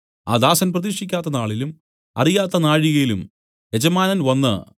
ആ ദാസൻ പ്രതീക്ഷിക്കാത്ത നാളിലും അറിയാത്ത നാഴികയിലും യജമാനൻ വന്നു